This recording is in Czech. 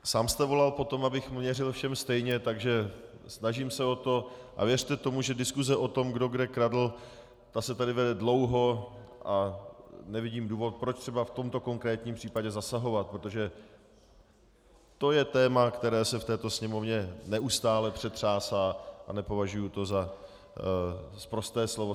Sám jste volal po tom, abych měřil všem stejně, takže snažím se o to a věřte tomu, že diskuse o tom, kdo kde kradl, ta se tady vede dlouho a nevidím důvod, proč třeba v tomto konkrétním případě zasahovat, protože to je téma, které se v této Sněmovně neustále přetřásá, a nepovažuji to za sprosté slovo.